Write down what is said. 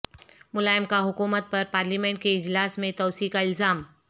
ملائم کا حکومت پر پارلیمنٹ کے اجلاس میں توسیع کا الزام